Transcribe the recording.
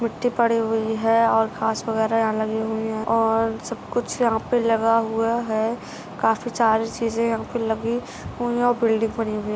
मिट्ठी पड़ी हुई है और घास वगैरा यहाँ लगी हई है और सबकुच्छ यहा पे लगा हुआ है काफी सारे चिजे यहा पे लगी हुई है और बिल्डिंग पडी हुई--